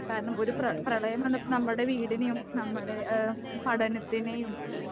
കാരണം ഒരു പ്ര പ്രളയം വന്നപ്പോൾ നമ്മുടെ വീടിനെയും നമ്മുടെ ഏഹ് പഠനത്തിനെയും